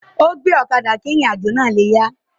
Ó gbe ọ̀kadà kí ìrìn àjò náà le yá a